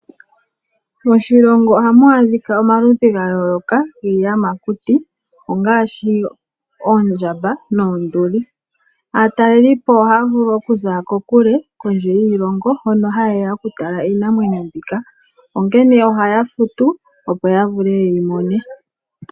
Moshilongo oha mu a dhika omaludhi ga yooloka giiyamakuti ngaashi: oondjamba, oonduli. Aatalelipo ohaya vulu okuza ko kule kondje yiilongo hono ha yeya oku tala iinamwenyo mbika, onkene ohaya futu opo ya vule ye yi mone.